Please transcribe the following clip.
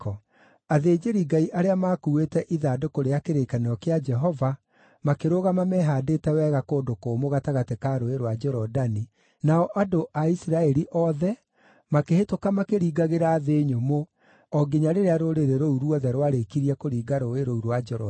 Athĩnjĩri-Ngai arĩa maakuuĩte ithandũkũ rĩa kĩrĩkanĩro kĩa Jehova makĩrũgama mehaandĩte wega kũndũ kũmũ gatagatĩ ka Rũũĩ rwa Jorodani, nao andũ a Isiraeli othe makĩhĩtũka makĩringagĩra thĩ nyũmũ o nginya rĩrĩa rũrĩrĩ rũu ruothe rwarĩkirie kũringa rũũĩ rũu rwa Jorodani.